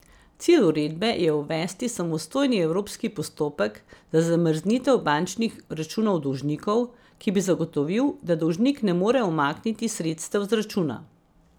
Cilj uredbe je uvesti samostojni evropski postopek za zamrznitev bančnih računov dolžnikov, ki bi zagotovil, da dolžnik ne more umakniti sredstev z računa.